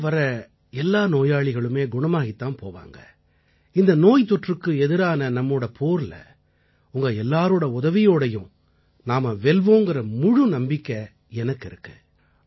உங்ககிட்ட வர்ற எல்லா நோயாளிகளுமே குணமாகித்தான் போவாங்க இந்த நோய் தொற்றுக்கு எதிரான நம்மோட போர்ல உங்க எல்லாரோட உதவியோடயும் நாம வெல்வோங்கற முழு நம்பிக்கை எனக்கு இருக்கு